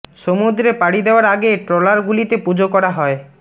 সমুদ্রে পাড়ি দেওয়ার আগে ট্রলার গুলিতে পুজো করা হয়